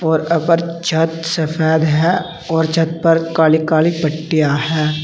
और ऊपर छत सफेद है और छत पर काली काली पट्टियां हैं।